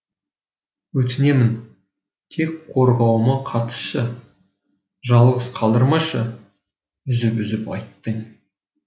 өтінемін тек қорғауыма қатысшы жалғыз қалдырмашы үзіп үзіп айттың